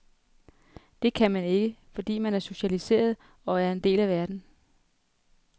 Det kan man ikke, fordi man er socialiseret og er en del af verden.